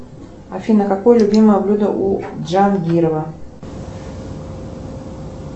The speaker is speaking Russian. афина какое любимое блюдо у джангирова